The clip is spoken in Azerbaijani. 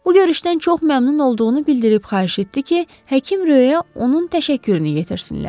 Bu görüşdən çox məmnun olduğunu bildirib xahiş etdi ki, həkim Röyə onun təşəkkürünü yetirsinlər.